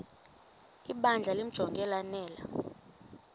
ibandla limjonge lanele